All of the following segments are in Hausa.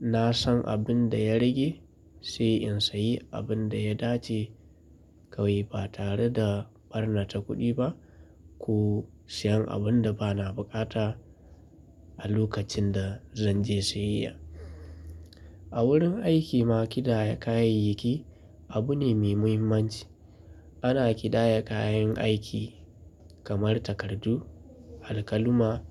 na san abin da ya rage sai in sayi abin da ya dace kawai ba tare da ɓarnata kuɗi ba ko siyan abin da bana buƙata a lokacin da zan je siyayya. A wurin aiki ma kiɗaya kayayyaki abu ne mai muhimmanci. Ana ƙidaya kayan aiki kamar takardu, alkalami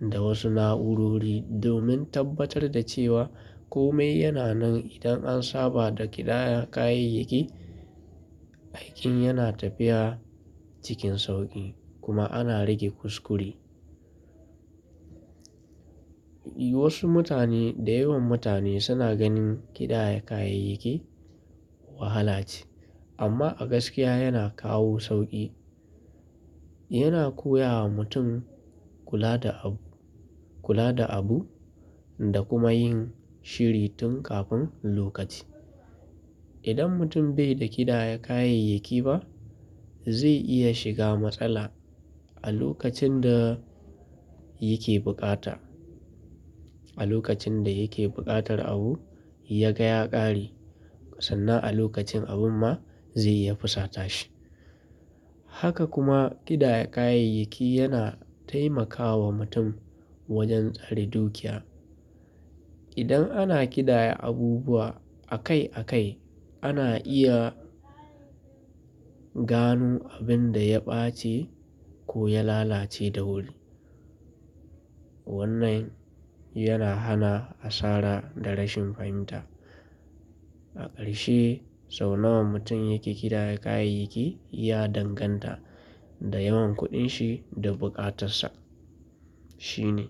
da wasu na'urori domin tabbatar da cewa kome yana nan. Idan an saba da ƙidaya kayayyaki, aikin yana tafiya cikin sauƙi kuma ana rage kuskure. Wasu mutane da yawan mutane suna ganin ƙidaya kayayyaki wahala ce amma a gaskiya yana kawo sauƙi. Yana koya wa mutum kula da abu, kula da abu da kuma yin shiri tun kafin lokaci. Idan mutum bai da ƙidaya kayayyaki ba, zai iya shiga matsala a lokacin da yake buƙata. A lokacin da yake buƙatar abu ya ga ya ƙare sannan a lokacin abin ma zai ya fusata shi. Haka kuma ƙidaya kayayyaki yana taimakawa mutum wajen tsari dokiya. Idan ana ƙidaya abubuwa akai akai, ana iya gano abin da ya ɓace ko ya lalace da wuri. Wannan yana hana asara da rashin fahimta. A ƙarshe sau nawa mutum yake ƙidaya kayayyaki ya danganta da yawan kuɗin shi da buƙatarsa. Shine.